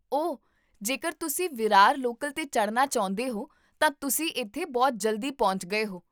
ਓ, ਜੇਕਰ ਤੁਸੀਂ ਵਿਰਾਰ ਲੋਕਲ 'ਤੇ ਚੜ੍ਹਨਾ ਚਾਹੁੰਦੇ ਹੋ ਤਾਂ ਤੁਸੀਂ ਇੱਥੇ ਬਹੁਤ ਜਲਦੀ ਪਹੁੰਚ ਗਏ ਹੋ